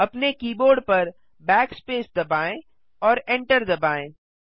अपने कीबोर्ड पर Backspace दबाएँ और एंटर दबाएँ